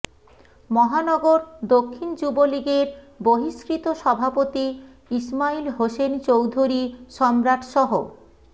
মহানগর দক্ষিণ যুবলীগের বহিস্কৃত সভাপতি ইসমাইল হোসেন চৌধুরী সম্রাটসহ